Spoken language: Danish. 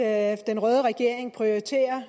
at den røde regeringen prioriterer